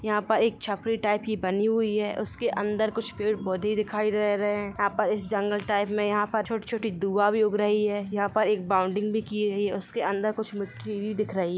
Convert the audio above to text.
यहा पर एक छपरी टाइप की बनी हुयी है उसके अंदर कुछ पेड़-पोधे दिखाय दे रहे है यहा पर इस जंगल टाईप में यहा पर छोटी छोटी दुवा भी उग रही है यहा पे एक बॉन्डिंग भी की हुई हैं। उसके अंदर कुछ मिटरी भी दिख रही --